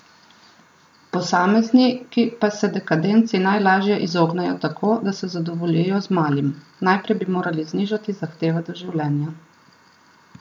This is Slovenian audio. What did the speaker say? Posamezniki pa se dekadenci najlažje izognejo tako, da se zadovoljijo z malim: "Najprej bi morali znižati zahteve do življenja.